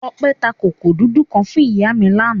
Ọpẹ́ ta kòkó dúdú kan fún ìyá mi lánàá.